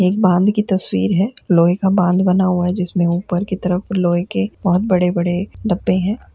एक बांध की तस्वीर है। लोहे का बांध बना हुआ है जिसमे ऊपर की तरफ लोहे के बहोत (बहुत) बड़े-बड़े डब्बे हैं ।